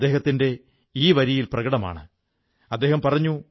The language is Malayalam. അദ്ദേഹം സലൂണിന്റെ ഒരു ഭാഗംതന്നെ പുസ്തകാലയമാക്കി